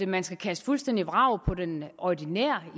man skal kaste fuldstændig vrag på den ordinære